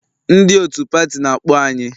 Ndị otu pati na-akpọ anyị